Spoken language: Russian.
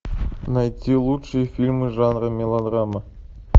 найти лучшие фильмы жанра мелодрама